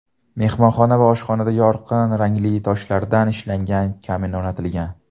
Mehmonxona va oshxonada yorqin rangli toshlardan ishlangan kamin o‘rnatilgan.